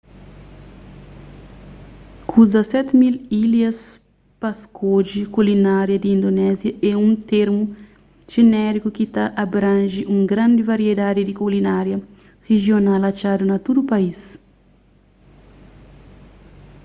ku 17,000 ilhas pa skodje kulinária di indonésia é un termu jenériku ki ta abranje un grandi variedadi di kulinária rijional atxadu na tudu país